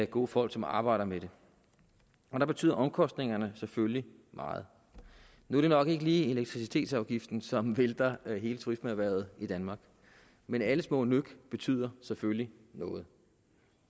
gode folk som arbejder med det der betyder omkostningerne selvfølgelig meget nu er det nok ikke lige elektricitetsafgiften som vælter hele turismeerhvervet i danmark men alle små nøk betyder selvfølgelig noget